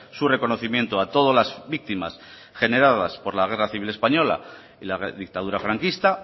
su reconocimiento a todas las víctimas generadas por la guerra civil española y la dictadura franquista